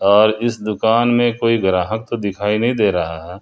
और इस दुकान में कोई ग्राहक तो दिखाई नहीं दे रहा है।